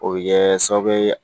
O bɛ kɛ sababu ye